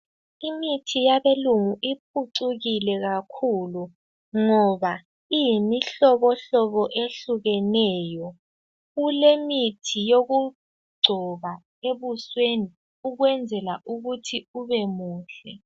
Imithi yabelungu iphucukile kakhulu ngoba iyimihlobo hlobo ehlukeneyo. Kulemithi yokugcoba ebusweni ukwenzela ukuthi ubemuhle.